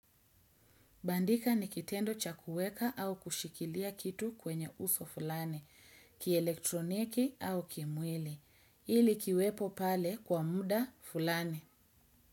Bandika ni kitendo cha kuweka au kushikilia kitu kwenye uso fulani, kielektroniki au kimwili. Ili kiwepo pale kwa muda fulani.